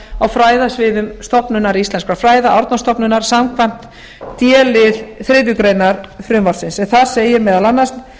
á fræðasviðum stofnunar íslenskra fræða árnastofnunar samkvæmt d lið þriðju greinar frumvarpsins en þar segir meðal annars